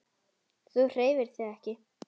Þú hreyfir þig ekki.